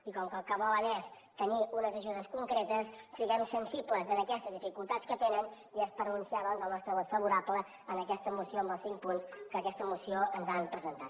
i com que el que volen és tenir unes ajudes concretes siguem sensibles a aquestes dificultats que tenen i és per anunciar doncs el nostre vot favorable a aquesta moció amb els cinc punts que amb aquesta moció ens han presentat